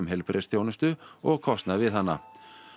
heilbrigðisþjónustu og kostnað við hana